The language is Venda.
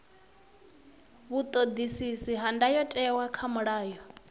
vhuṱoḓisisi ha ndayotewa kha mulayo